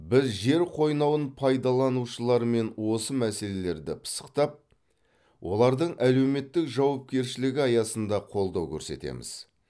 біз жер қойнауын пайдаланушылармен осы мәселелерді пысықтап олардың әлеуметтік жауапкершілігі аясында қолдау көрсетеміз